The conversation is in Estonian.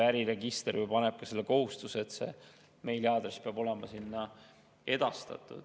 Äriregister ju paneb ka selle kohustuse, et meiliaadress peab olema sinna edastatud.